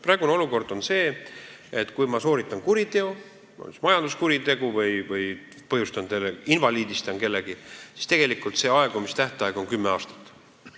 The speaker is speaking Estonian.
Praegune olukord on selline, et kui ma sooritan kuriteo, näiteks majanduskuriteo või invaliidistan kellegi, siis aegumistähtaeg on kümme aastat.